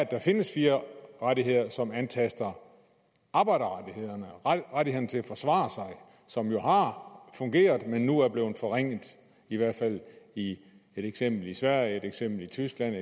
der findes fire rettigheder som antaster arbejderrettighederne og rettighederne til at forsvare sig som jo har fungeret men nu er blevet forringet i hvert fald i et eksempel i sverige i et eksempel i tyskland og